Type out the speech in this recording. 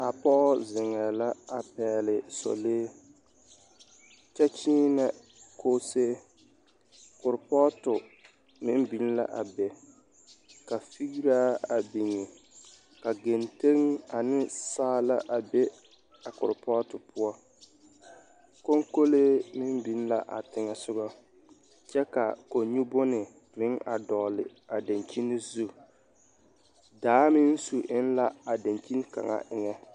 A pɔge zeŋɛɛ la a pɛgele sɔlee kyɛ kyeenɛ koosee, koropɔɔto meŋ biŋ la a be ka fegeraa a biŋ ka kenteŋ ane saala a be a koropɔɔto poɔ, konkolee meŋ biŋ la a teŋɛ sogɔ kyɛ ka kɔŋ-nyu bone meŋ a dɔɔle a daŋkyini zu, daa meŋ su eŋ la a daŋkyini kaŋa eŋɛ.